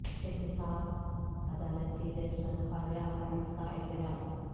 احتساب عدالت کے جج پر خواجہ حارث کا اعتراض